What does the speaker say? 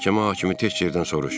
Məhkəmə hakimi tək yerdən soruş.